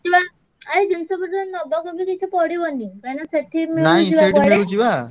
ଜିନିଷପତ୍ର ନବାକୁ ବି କିଛି ପଡ଼ିବନି କାହିଁକିନା ସେଠି ମିଳୁଚି ବା